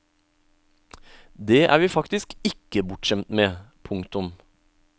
Det er vi faktisk ikke bortskjemt med. punktum